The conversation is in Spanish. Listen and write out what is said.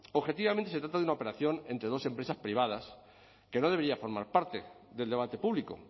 objetivamente se trata de una operación entre dos empresas privadas que no debería formar parte del debate público